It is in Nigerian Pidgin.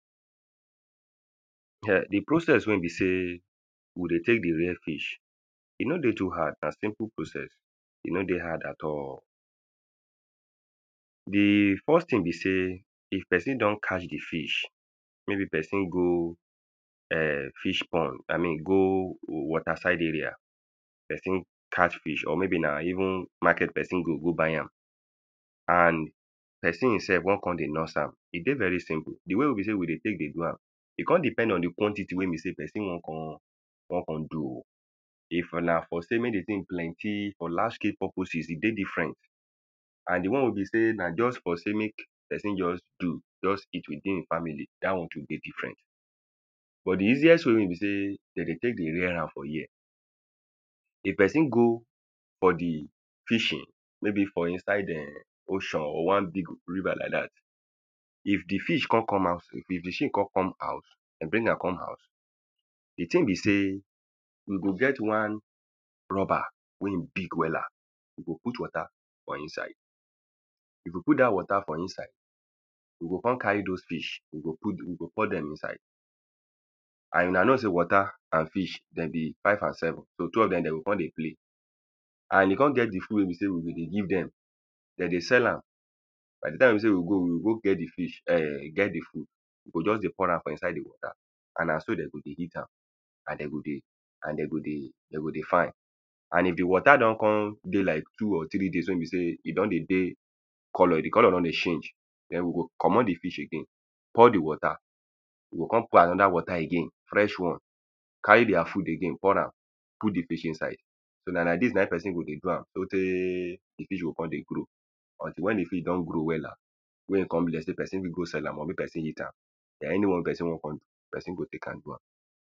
[um]the process wey be sey we dey take dey rare fish e no dey too hard. Na simple process. E no dey hard at all. The first thing be sey, if person don catch the fish maybe person go um fish pond. I mean go water side area. Person catch fish or maybe na even market person go go buy am. And person im self wan con dey nurse am. E dey very simple. They way wey be sey we dey take dey do am. E con depend on the quatity wey be sey person wan kon wan con do o. If na for sey make the thing plenty for lasting purposes. E dey different. And the one wey be sey na just for say make person just do just eat within the family, dat one too dey different. But the easiest way wey be sey de dey take dey rare am for here if person go for the fishing. Maybe for inside um ocean or one big river like dat. If the fish con come out. If the fish con come out de bring am come house. The thing be sey we go get one rubber wey e big wella. You go put water put for inside You go put dat water for inside, you go con carry dos fish, you go put, you go pour dem inside. And una know say water and fish dem be five and seven. So, two of dem de go con dey play. And e con get the food wey be sey we go give dem. Den de sell am. By the time wey be sey we go, we o go get the fish erm get the food. We go just dey pour am for inside dey put am. And na so de go dey eat am. And de go dey and de go dey, de go dey fine. And if the water den con dey like two or three days wey bew sey e don dey dey colour. The colour don dey change. Den we go comot the fish again. Pour the water. We go con put another water again, fresh one. Carry their food again pour am put the fish inside. So na like dis na im person go dey do am so tey the fish go con dey grow until when the fish don grow wella. Wey e con big. De person fit con sell am or mey person eat am. Na anyone wey person wan con do, person go take am do am.